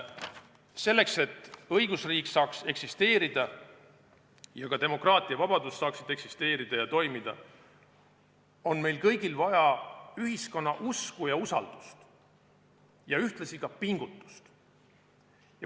Selleks, et õigusriik saaks eksisteerida ning ka demokraatia ja vabadus saaksid toimida, on meil kõigil vaja ühiskonna usku ja usaldust, ühtlasi pingutust.